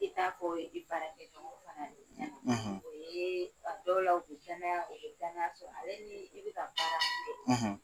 I k'a fɔ i baara kɛ ɲɔgɔn fana ye o ye a dɔw la u bɛ kɛnɛya u bɛ danaya sɔrɔ ale ni i bɛ ka baara min kɛ.